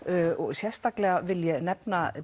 sérstaklega vil ég nefna